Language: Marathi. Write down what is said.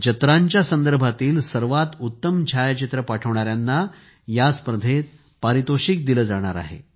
जत्रांच्या संदर्भातील सर्वात उत्तम छायाचित्रे पाठविणाऱ्यांना या स्पर्धेत पारितोषिक दिले जाणार आहे